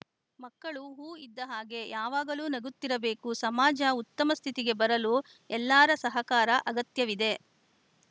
ಮಕ್ಕಳು ಹೂ ಇದ್ದ ಹಾಗೆ ಯಾವಾಗಲು ನಗುತ್ತಿರಬೇಕು ಸಮಾಜ ಉತ್ತಮ ಸ್ಥಿತಿಗೆ ಬರಲು ಎಲ್ಲಾರ ಸಹಕಾರ ಅಗತ್ಯವಿದೆ